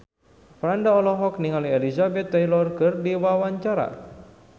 Franda olohok ningali Elizabeth Taylor keur diwawancara